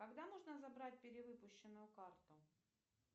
когда можно забрать перевыпущенную карту